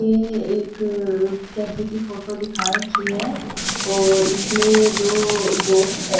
ये एक कैफे की फोटो दिखा रखी है और इसमें ये दो दोस्त बे--